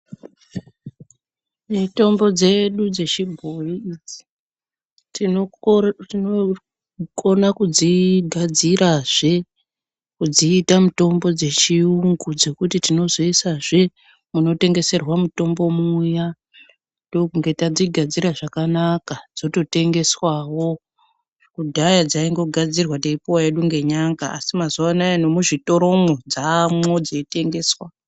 Mitombo dzedu dzechibhoyi idzi tinokona kudzigadzirazve kudziita mitombo dzechiyungu dzekuti tinozoisazve munotengeserwa mutombo muya ndokunge tadzigadzira zvakanaka dzototengeswawo. Kudhaya dzaingogadzirwa teipuwa hedu nenyanga asi mazuwanaya nemuzvitoromwo dzamwo dzeitengeswa.